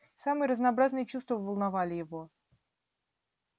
самые разнообразные чувства волновали его